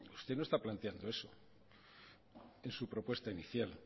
usted no está planteando eso en su propuesta inicial